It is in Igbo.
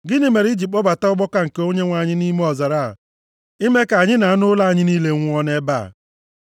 Gịnị mere i ji kpọbata ọgbakọ nke Onyenwe anyị nʼime ọzara a, ime ka anyị na anụ ụlọ anyị niile nwụọ nʼebe a?